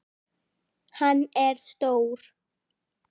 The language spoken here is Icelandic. Hann er stór.